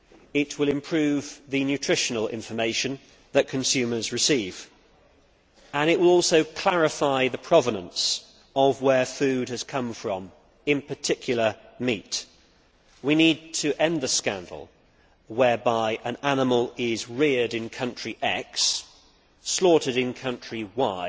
It will improve the nutritional information that consumers receive and it will also clarify where food has come from, in particular meat. We need to end the scandal whereby an animal reared in country X and slaughtered in country Y